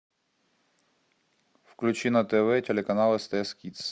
включи на тв телеканал стс кидс